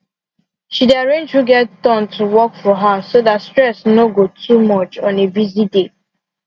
she arrange who get turn to work for house so dat stress no go too much on a busy day